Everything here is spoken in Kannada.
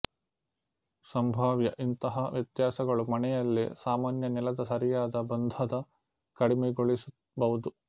ಸಂಭಾವ್ಯ ಇಂತಹ ವ್ಯತ್ಯಾಸಗಳು ಮನೆಯಲ್ಲಿ ಸಾಮಾನ್ಯ ನೆಲದ ಸರಿಯಾದ ಬಂಧದ ಕಡಿಮೆಗೊಳಿಸಬಹುದು